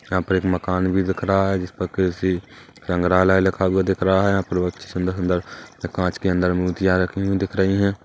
यहाँ पर एक मकान भी दिख रहा है जिस पर कृषि संग्रहालया लिखा हुआ दिख रहा है यहाँ पर बहुत अच्छी सुंदर सुंदर कांच के अंदर मूर्तियाँ रखी हुई दिख रही है।